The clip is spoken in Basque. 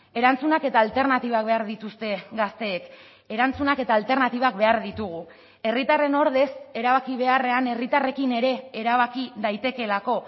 erantzunak eta alternatibak behar dituzte gazteek erantzunak eta alternatibak behar ditugu herritarren ordez erabaki beharrean herritarrekin ere erabaki daitekeelako